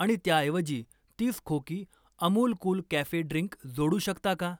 आणि त्याऐवजी तीस खोकी अमूल कूल कॅफे ड्रिंक जोडू शकता का?